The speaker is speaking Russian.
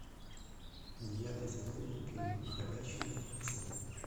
девятый сезон мультфильма ходячие мертвецы